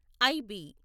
IB